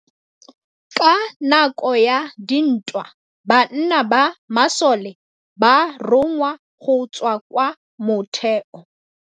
Ka nakô ya dintwa banna ba masole ba rongwa go tswa kwa mothêô.